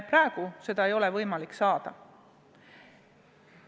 Praegu seda infot ei ole võimalik saada.